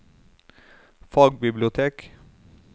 fagbibliotek